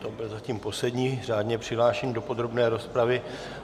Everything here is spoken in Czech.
To byl zatím poslední řádně přihlášený do podrobné rozpravy.